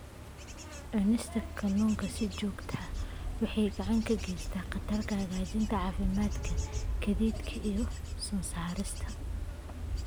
Cunista kalluunka si joogto ah waxay gacan ka geysan kartaa hagaajinta caafimaadka kaadida iyo sun-saarista.